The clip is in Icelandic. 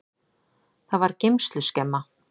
Það var geymsluskemma.